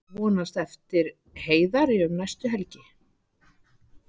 Vonast eftir Heiðari um næstu helgi